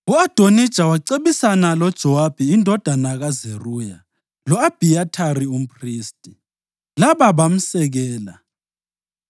U-Adonija wacebisana loJowabi indodana kaZeruya lo-Abhiyathari umphristi, laba bamsekela.